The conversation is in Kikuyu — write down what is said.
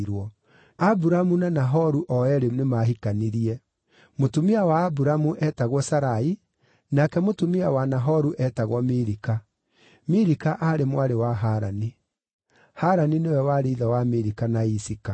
Aburamu na Nahoru o eerĩ nĩmahikanirie. Mũtumia wa Aburamu eetagwo Sarai, nake mũtumia wa Nahoru eetagwo Milika; Milika aarĩ mwarĩ wa Harani. Harani nĩwe warĩ ithe wa Milika na Isika.